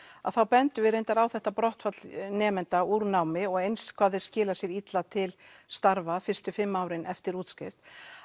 að þá bendum við reyndar á þetta nemenda úr námi og eins hvað þeir skila sér illa til starfa fyrstu fimm árin eftir útskrift